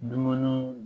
Dumuniw